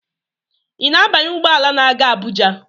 Ị na-abanye ụgbọ ala na-aga Abuja?